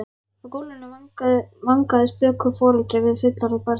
Á gólfinu vangaði stöku foreldri við fullorðið barn sitt.